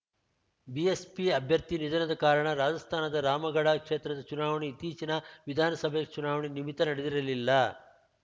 BSP ಅಭ್ಯರ್ಥಿ ನಿಧನದ ಕಾರಣ ರಾಜಸ್ಥಾನದ ರಾಮಗಢ ಕ್ಷೇತ್ರದ ಚುನಾವಣೆ ಇತ್ತೀಚಿನ ವಿಧಾನಸಭೆ ಚುನಾವಣೆ ನಿಮಿತ್ತ ನಡೆದಿರಲಿಲ್ಲ